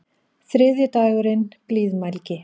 Þriðji dagurinn: Blíðmælgi.